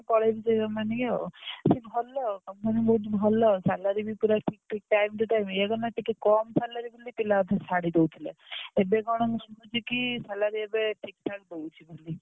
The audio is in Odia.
ପଳେଇବି ସେ company କି ଆଉ କିନ୍ତୁ ଭଲ company ବହୁତ ଭଲ salary ବି ଠିକ time to time ଏଇଆ କଣ ନା ଟିକେ କମ salary ବୋଲି ପିଲା ଅଧେ ଛାଡି ଦଉଥିଲେ ଏବେ କଣ ମୁଁ ଶୁଣୁଛି କି salary ଏବେ ଠିକ ଠାକ ଦଉଛି ବୋଲି।